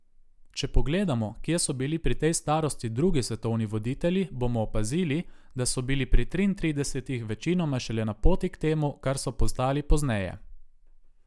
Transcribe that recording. Če pogledamo, kje so bili pri tej starosti drugi svetovni voditelji, bomo opazili, da bo bili pri triintridesetih večinoma šele na poti k temu, kar so postali pozneje.